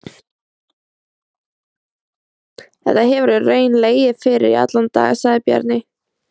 Þetta hefur í raun legið fyrir í allan dag, sagði Bjarni.